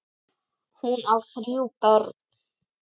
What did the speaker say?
Hún á þrjú börn.